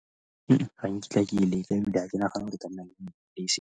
Ga nkitla ke e leka ebile ga ke nagane .